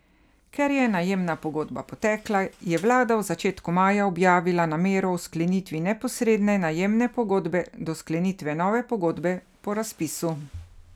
Ker je najemna pogodba potekla, je vlada v začetku maja objavila namero o sklenitvi neposredne najemne pogodbe do sklenitve nove pogodbe po razpisu.